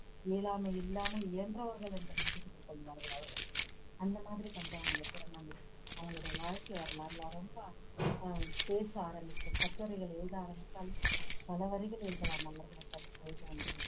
இயலாமை இல்லாமல் இயன்றவர்கள் என்று நிரூபித்துக் கொள்வார்கள் அவர்கள் அந்த மாதிரி பண்றாங்க இந்த திருநங்கை அவங்களோட வாழ்க்கை வரலாறுல ரொம்ப அஹ் பேச ஆரம்பிச்சும் கட்டுரைகள் எழுத ஆரம்பிச்சாலும் பல வரிகள் எழுதலாம் அவர்களைப் பற்றி எழுத வேண்டும்